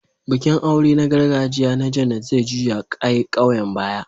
Bikin aure na gargajiya na Janet zai juya ƙauyen baya.